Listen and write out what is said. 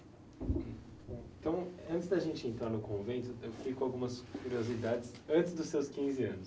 Então, eh, antes da gente entrar no convento, eu fiquei com algumas curiosidades antes dos seus quinze anos.